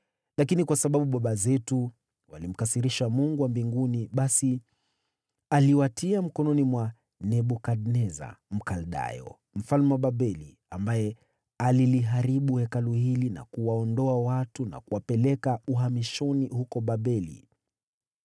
Lakini kwa sababu baba zetu walimkasirisha Mungu wa mbinguni, basi aliwatia mkononi mwa Nebukadneza, Mkaldayo, mfalme wa Babeli, ambaye aliliharibu Hekalu hili na kuwaondoa watu na kuwapeleka uhamishoni huko Babeli.